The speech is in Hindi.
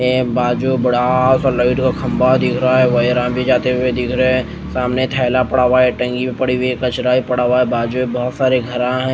ए बाजू बढ़ा सा लाइट का खम्भा दिख रहा है जाते हुए दिख रहे हैं सामने थैला पड़ा हुआ है टंगी हुई पड़ी है कचड़ा भी पड़ा हुआ है बाजू में बहोत सारा घरा हैं।